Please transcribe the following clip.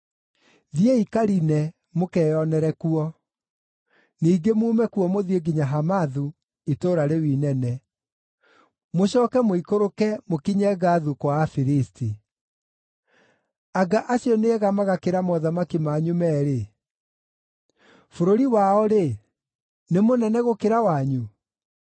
Thiĩi Kaline mũkeyonere kuo, ningĩ muume kuo mũthiĩ nginya Hamathu, itũũra rĩu inene, mũcooke mũikũrũke mũkinye Gathu kwa Afilisti. Anga acio nĩega magakĩra mothamaki manyu meerĩ? Bũrũri wao-rĩ, nĩ mũnene gũkĩra wanyu?